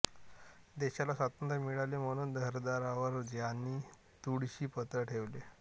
देशाला स्वातंत्र्य मिळावे म्हणून घरादारावर ज्यांनी तुळशी पत्र ठेवले